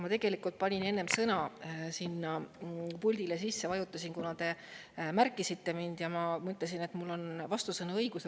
Ma tegelikult panin enne sõna sisse, vajutasin puldile, kuna te märkisite mind, ja ma mõtlesin, et mul on vastusõna õigus.